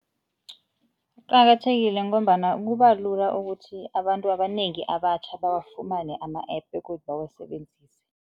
Kuqakathekile ngombana kubalula ukuthi abantu abanengi abatjha bawafumane ama-App begodu